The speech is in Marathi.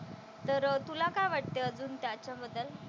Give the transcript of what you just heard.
तर तुला काय वाटतं अजून त्याच्याबद्दल?